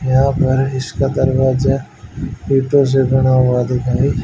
यहां पर इसका दरवाजा खूंटों से बना हुआ दिखाई--